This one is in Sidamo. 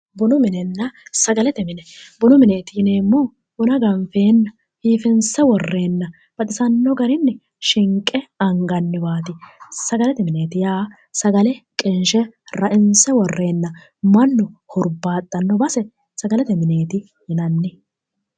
Bunu minenna sagalete mine, bunu mineeti yineemmohu buna ganfeenna biiffinse worreenna baxisanno garinni shinqe anganniwaati, sagalete mineeti yaa sagale qinshe ra"inse worreenna mannu hurbaaxxanno base sagalete mineeti yinanni.